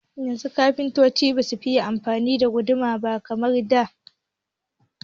Yanzu kafintoci basu fiye amfani da guduma ba kamar da.